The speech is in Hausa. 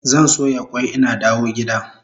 Zan soya kwai ina dawo gida